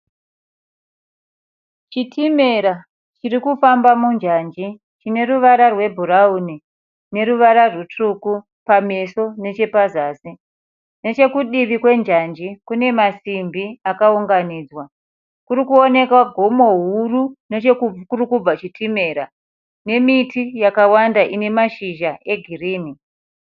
Chitimera chiri kufamba munjanji chine ruvara rwebhurauni neruvara rutsvuku pameso nechepazasi. Nechekudivi kwe njanji kune masimbi akaunganidzwa. Kuri kuonekwa gomo huru nechekurikubva chitimera nemiti yakawanda ine mashizha egirini.